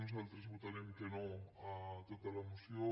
nosaltres votarem que no a tota la moció